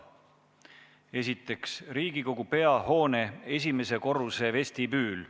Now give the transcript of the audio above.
Esiteks, Riigikogu peahoone esimese korruse vestibüül.